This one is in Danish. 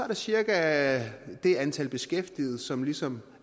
der cirka det antal beskæftigede som ligesom